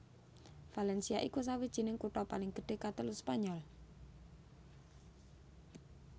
Valencia iku sawijining kutha paling gedhé katelu Spanyol